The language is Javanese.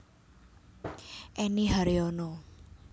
Enny Haryono